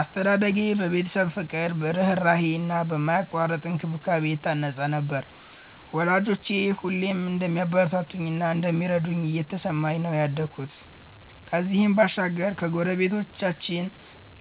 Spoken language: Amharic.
አስተዳደጌ በቤተሰብ ፍቅር፣ ርህራሄ እና በማያቋርጥ እንክብካቤ የታነጸ ነበር፤ ወላጆቼ ሁሌም እንደሚያበረታቱኝ እና እንደሚረዱኝ እየተሰማኝ ነው ያደኩት። ከዚህም ባሻገር ከጎረቤቶቻችን